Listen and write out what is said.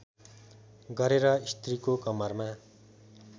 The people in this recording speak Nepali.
गरेर स्त्रीको कमरमा